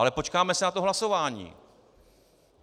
Ale počkáme si na to hlasování.